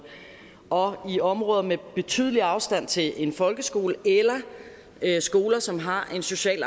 og i områder med betydelig afstand til en folkeskole eller skoler som har en socialt